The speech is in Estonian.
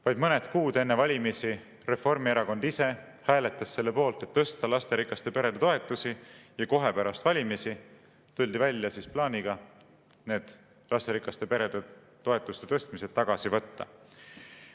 Vaid mõned kuud enne valimisi Reformierakond ise hääletas selle poolt, et tõsta lasterikaste perede toetusi, ja kohe pärast valimisi tuldi välja plaaniga lasterikaste perede toetuste tõstmine tagasi võtta.